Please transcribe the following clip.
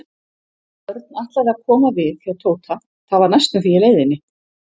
Örn ætlaði að koma við hjá Tóta, það var næstum því í leiðinni.